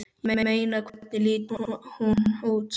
Ég meina. hvernig lítur hún út?